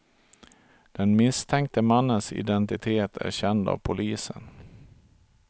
Den misstänkte mannens identitet är känd av polisen.